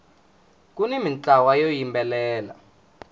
kuni mintlawa yo yimbelela